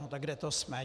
No tak kde to jsme?